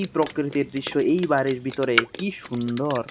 প্রকৃতির দৃশ্য এই বাড়ির ভিতরে কি সুন্দর।